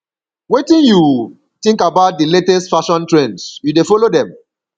wetin you think about di latest fashion trends you dey follow dem